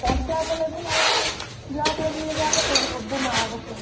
Contract level ଆଉ block level ଯାହା ପକେଇବୁ ସବୁ mark through